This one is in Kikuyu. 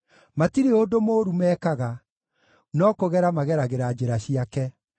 Matirĩ ũndũ mũũru mekaga; no kũgera mageragĩra njĩra ciake.